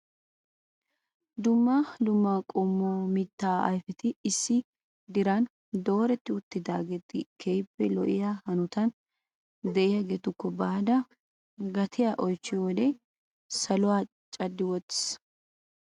Dumma dumma qommo mittaa ayfeti issi diran dooreti uttidaagee keehippe lo"iya hanotan de'iyaagakko baada gatiya oychchiyo wode saluwaaa caddi wottiis.